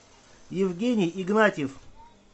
евгений игнатьев